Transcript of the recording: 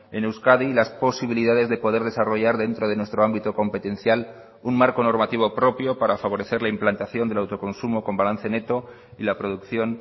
en euskadi las posibilidades de poder desarrollar dentro de nuestro ámbito competencial un marco normativo propio para favorecer la implantación del autoconsumo con balance neto y la producción